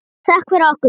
Þökk fyrir okkur.